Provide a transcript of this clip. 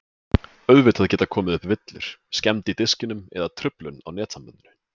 Auðvitað geta komið upp villur, skemmd í diskinum eða truflun á netsambandinu.